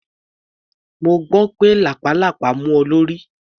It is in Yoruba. Mo gbọ́ pé lápàlàpá mú ọ lórí.